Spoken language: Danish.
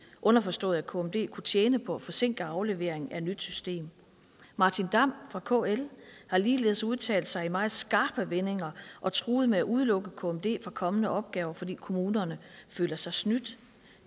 underforstået at kmd kunne tjene på at forsinke afleveringen af et nyt system martin damm fra kl har ligeledes udtalt sig i meget skarpe vendinger og truet med at udelukke kmd fra kommende opgaver fordi kommunerne føler sig snydt